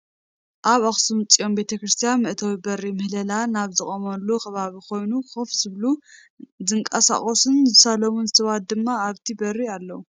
አብ አክሱም ፅዮን ቤተ ክርስትያን መእተዊ በሪ ምህሌላ ናብ ዝቆመሉ ከባቢ ኮይኑ ኮፍ ዝበሉ፣ ዝንቀሳቀሱን ዝሳለሙን ሰባት ድማ አብቲ በሪ አለዉ፡፡